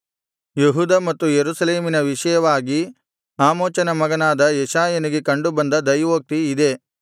ಯೆಹೂದ ಮತ್ತು ಯೆರೂಸಲೇಮಿನ ವಿಷಯವಾಗಿ ಆಮೋಚನ ಮಗನಾದ ಯೆಶಾಯನಿಗೆ ಕಂಡು ಬಂದ ದೈವೋಕ್ತಿ ಇದೇ